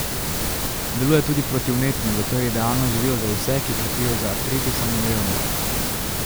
Deluje tudi protivnetno, zato je idealno živilo za vse, ki trpijo za artritisom in revmo.